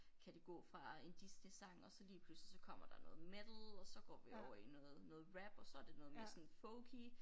Kan det gå fra en Disneysang og så lige pludselig så kommer der noget metal og så går vi over i noget noget rap og så det noget mere sådan folky